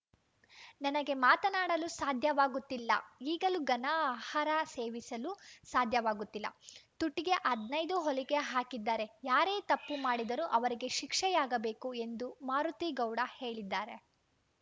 ನನಗೆ ಮಾತನಾಡಲು ಸಾಧ್ಯವಾಗುತ್ತಿಲ್ಲ ಈಗಲೂ ಘನ ಆಹಾರ ಸೇವಿಸಲು ಸಾಧ್ಯವಾಗುತ್ತಿಲ್ಲ ತುಟಿಗೆ ಹದಿನೈದು ಹೊಲಿಗೆ ಹಾಕಿದ್ದಾರೆ ಯಾರೇ ತಪ್ಪು ಮಾಡಿದ್ದರೂ ಅವರಿಗೆ ಶಿಕ್ಷೆಯಾಗಬೇಕು ಎಂದು ಮಾರುತಿಗೌಡ ಹೇಳಿದ್ದಾರೆ